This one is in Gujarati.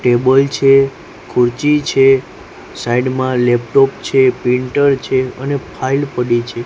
ટેબલ છે ખુરચી છે સાઈડ માં લેપટોપ છે પ્રિન્ટર છે અને ફાઈલ પડી છે.